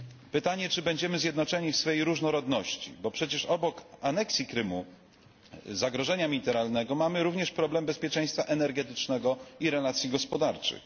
Pytanie, czy będziemy zjednoczeni w swej różnorodności, bo przecież obok aneksji Krymu, zagrożenia militarnego, mamy również problem bezpieczeństwa energetycznego i relacji gospodarczych.